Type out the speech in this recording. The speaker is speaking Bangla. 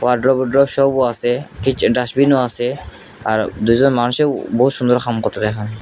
ওয়ারড্রব বোড্রব সবও আসে কিচেন ডাস্টবিন -ও আসে আর দুইজন মানুষে বহুত সুন্দর খাম করতে দেখাম।